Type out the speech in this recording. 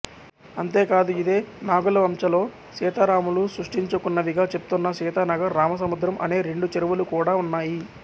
అంతేకాదు ఇదే నాగులవంచలో సీతారాములు సృష్టించుకున్నవిగా చెప్తున్న సీతానగర్ రామసముద్రం అనే రెండు చెరువులు కూడా ఉన్నాయి